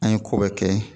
An ye ko bɛɛ kɛ